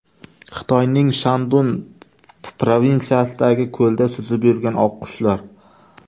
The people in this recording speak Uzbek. Xitoyning Shandun provinsiyasidagi ko‘lda suzib yurgan oqqushlar.